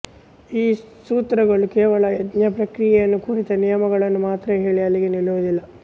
ಈ ಸೂತ್ರಗಳು ಕೇವಲ ಯಜ್ಞಪ್ರಕ್ರಿಯೆಯನ್ನು ಕುರಿತ ನಿಯಮಗಳನ್ನು ಮಾತ್ರ ಹೇಳಿ ಅಲ್ಲಿಗೆ ನಿಲ್ಲುವುದಿಲ್ಲ